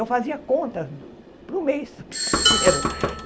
Eu fazia contas para o mês pipoqueiro.